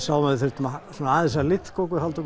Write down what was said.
sáum að við þurftum aðeins að liðka okkur halda